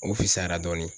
O fisayara dɔɔnin